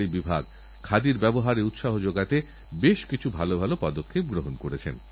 তাই তো আমি বলি let us aim to innovate আসুন আমরা এগোই গবেষণারলক্ষ্যে